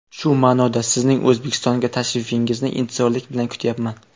Shu ma’noda, Sizning O‘zbekistonga tashrifingizni intizorlik bilan kutyapman.